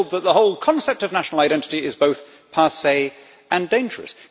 they are told that the whole concept of national identity is both passé and dangerous.